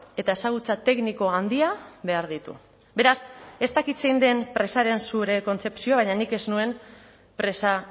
eta ezagutza tekniko handia behar ditu beraz ez dakit zein den presaren zure kontzepzioa baina nik ez nuen presa